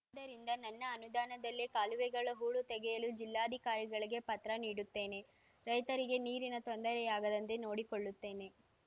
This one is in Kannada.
ಆದ್ದರಿಂದ ನನ್ನ ಅನುದಾನದಲ್ಲೆ ಕಾಲುವೆಗಳ ಹೂಳು ತೆಗೆಸಲು ಜಿಲ್ಲಾಧಿಕಾರಿಗಳಿಗೆ ಪತ್ರ ನೀಡುತ್ತೇನೆ ರೈತರಿಗೆ ನೀರಿನ ತೊಂದರೆಯಾಗದಂತೆ ನೋಡಿಕೊಳ್ಳುತ್ತೇನೆ